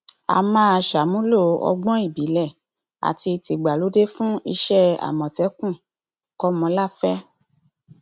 a máa ṣàmúlò ọgbọn ìbílẹ àti tìgbàlódé fún iṣẹ àmọtẹkùn kọmọláfẹ